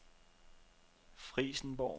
Frijsenborg